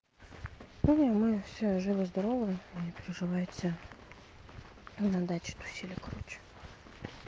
мы все живы-здоровы не приживается на даче тусили короче